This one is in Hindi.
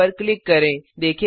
सेव पर क्लिक करें